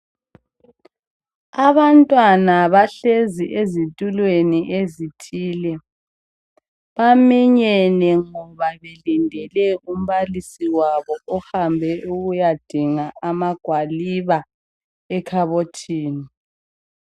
Abantwana bahlezi ezitulweni ezithile baminyene ngoba belindele umbalisi wabo ohambe ukuyadinga amagwaliba ekhabothini.